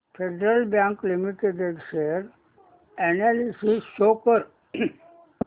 federal bank limited share analysis show कर